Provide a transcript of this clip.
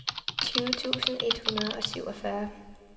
tyve tusind et hundrede og syvogfyrre